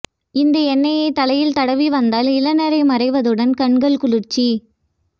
இந்த எண்ணெயைத் தலையில் தடவி வந்தால் இளநரை மாறுவதுடன் கண்கள் குளிர்ச்சி